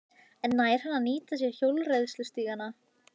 En nær hann að nýta sér hjólreiðastígana?